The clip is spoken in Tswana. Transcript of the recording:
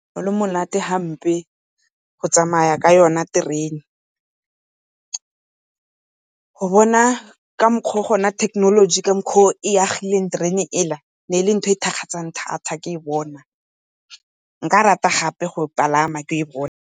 Ne gole monate hampe go tsamaya ka yona terene. Go bona ka mokgwa o gona thekenoloji ka mokgwa o e agileng terene ela, e ne e le ntho e thakgatsang thata ke e bona. Nka rata gape go e palama ke e bone.